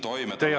Teie aeg!